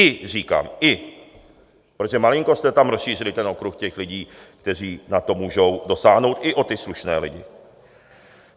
I říkám, i, protože malinko jste tam rozšířili ten okruh těch lidí, kteří na to můžou dosáhnout, i o ty slušné lidi.